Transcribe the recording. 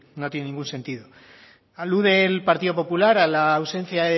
no tiene ningún sentido alude el partido popular a la ausencia